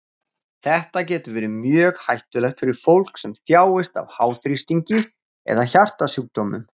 Þetta getur verið mjög hættulegt fyrir fólk sem þjáist af háþrýstingi eða hjartasjúkdómum.